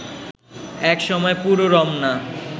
এক সময় পুরো রমনা